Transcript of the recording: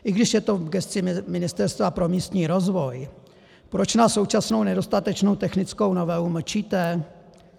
I když je to v gesci Ministerstva pro místní rozvoj, proč na současnou nedostatečnou technickou novelu mlčíte?